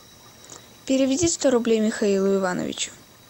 переведи сто рублей михаилу ивановичу